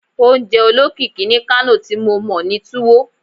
Ounje olokiki ni Kano ti mo mọ ni Tuwo